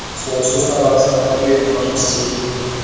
сол ұсыныстардың арасын таңдап жүретін едім мына жұмысты істегім келмейді